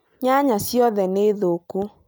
Nyanya ciothe nĩ thokũ